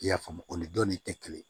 I y'a faamu o ni dɔnni tɛ kelen ye